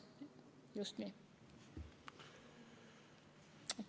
Just nii.